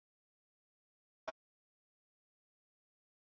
Inga reyndi að hughreysta hann.